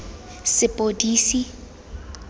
sepodisi